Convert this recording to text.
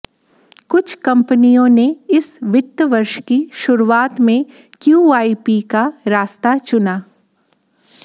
कुछ कंपनियों ने इस वित्त वर्ष की शुरुआत में क्यूआईपी का रास्ता चुना